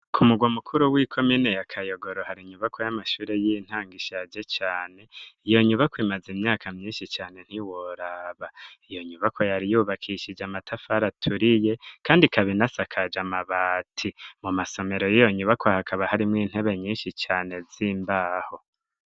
Ku murwa mukuru, w'ikomine ya Kayogoro, hari inyubakwa y'amashure y'intango, ishaje cane; iyo nyubakwa, imaze imyaka myinshi cane ntiworaba; iyo nyubakwa yariyubakishije amatafari aturiye, kandi ikaba inasakaje amabati; amasomero y'iyo nyubakwa, hakaba harimwo intebe nyinshi cane, z'imbaho.